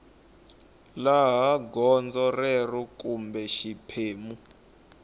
laha gondzo rero kumbe xiphemu